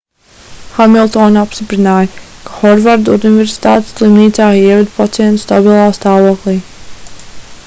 hamiltone apstiprināja ka hovarda universitātes slimnīcā ieveda pacientu stabilā stāvoklī